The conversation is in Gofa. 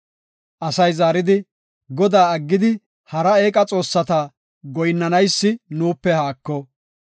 Asay zaaridi, “Godaa aggidi, hara eeqa xoossata goyinnanaysi nuupe haako.